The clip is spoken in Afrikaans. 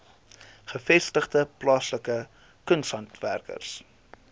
gevestigde plaaslike kunshandwerkers